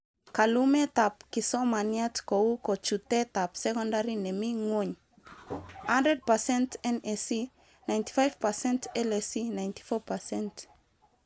Kalumetab kisomaniat kou kochutetab sokondari nemi ngwony:100%NAC;95%LAC;94%